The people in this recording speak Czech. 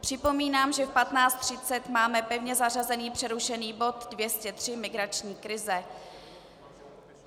Připomínám, že v 15.30 máme pevně zařazený přerušený bod 203, migrační krize.